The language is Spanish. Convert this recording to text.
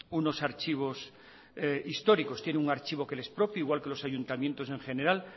unos archivos históricos tienen un archivo que le es propio igual que los ayuntamientos en general